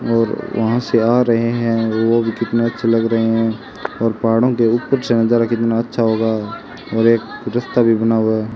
और वहां से आ रहे हैं ओ भी कितना अच्छे लग रहे हैं और पहाड़ों के ऊपर से नजारा कितना अच्छा होगा और एक रस्ता भी बना हुआ --